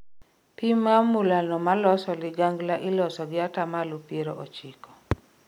Pim mar mula no maloso ligangla iloso gi atamalo piero ochiko